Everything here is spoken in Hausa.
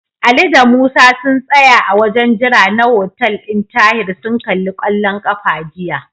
Ali da Musa sun tsaya a wajen jira na hotel ɗin Tahir sun kalli kwallon ƙafa jiya.